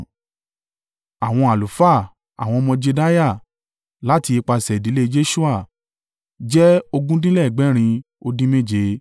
Àwọn àlùfáà. Àwọn ọmọ Jedaiah (láti ipasẹ̀ ìdílé Jeṣua) jẹ́ ogún dín lẹ́gbẹ̀rin ó dín méje (973)